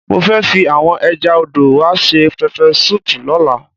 Mo fẹ́ fi àwọn ẹja odò wa ṣe pẹpẹ súùpù lọ́la.